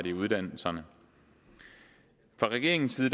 i uddannelserne fra regeringens side